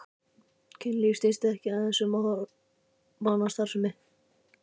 Kynlíf snýst ekki aðeins um hormónastarfsemi.